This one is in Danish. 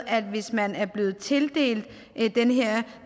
at hvis man er blevet tildelt den her